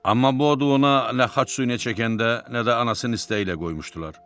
Amma bu adı ona nə xaç suyuna çəkəndə, nə də anasının istəyi ilə qoymuşdular.